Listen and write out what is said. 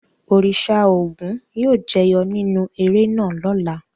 Òrìṣà Ògún yóò jẹyọ nínú eré náà lọ́la.